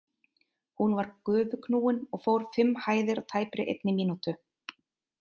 Hún var gufuknúin og fór fimm hæðir á tæpri einni mínútur.